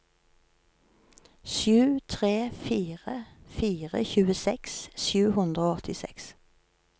sju tre fire fire tjueseks sju hundre og åttiseks